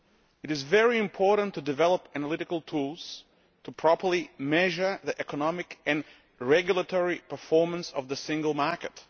It is very important to develop analytical tools to properly measure the economic and regulatory performance of the Single Market.